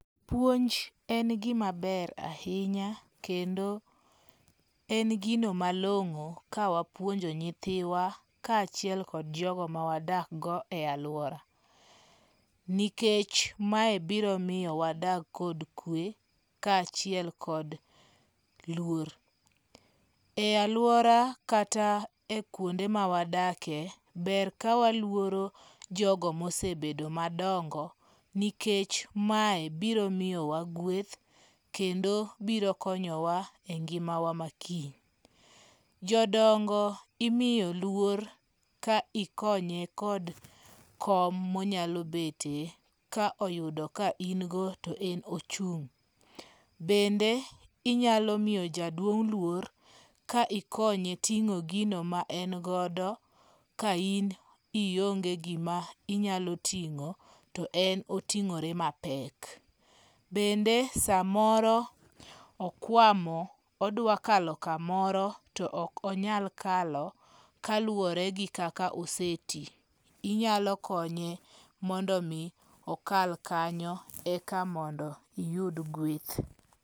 Puonj en gima ber ahinya kendo en gino malong'o ka wapuonjo nyithiwa ka achiel kod jogo ma wadak go e aluora. Nikech mae biro miyo wadak kod kwe ka achiel kod luor. E aluora kata e kwonde ma wadakie ber ka waluoro jogo mosebedo madongo nikech mae biro miyowa gweth kendo biro konyowa e ngima wa makiny. Jodongo imiyo luor ka ikonye kod kom monyalo betie ka oyudo ka ingo to en ochung'. Bende inyalo miyo jaduong' luor ka ikonye ting'o gino ma en godo ka in ionge gima inyalo ting'o to en oting'ore mapek. Bende samoro okwamo odwa kalo kamoro to ok onyal kalo kaluwore gi kaka ose ti. Inyalo konye mondo mi okal kanyo e ka mondo iyud gweth.